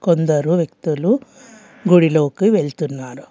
కొందరు వ్యక్తులు గుడిలోకి వెళ్తున్నారు.